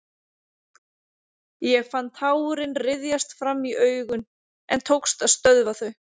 Ég fann tárin ryðjast fram í augun en tókst að stöðva þau.